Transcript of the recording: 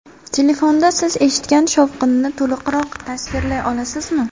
Telefonda siz eshitgan shovqinni to‘liqroq tasvirlay olasizmi?